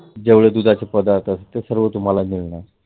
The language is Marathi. जेवढे दुधाचे पदार्थ आहेत ते सर्व तुम्हाला मिळणार.